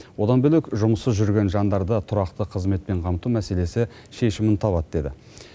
одан бөлек жұмыссыз жүрген жандарды тұрақты қызметпен қамту мәселесі шешімін табады деді